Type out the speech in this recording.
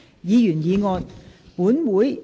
議員議案。